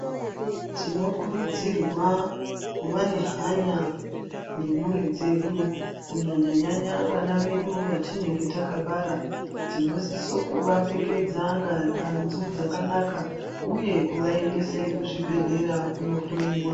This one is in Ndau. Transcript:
Tinokurudzirwa Kuva nehanya nemhuri dzedu kunyanya vana vedu vatinenge takabara tinosisa kuvapfekedza hanzu dzakanaka uye kuvaendese kuzvibhedhlera kunohloiwa.